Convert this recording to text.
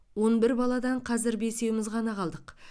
он бір баладан қазір бесеуіміз ғана қалдық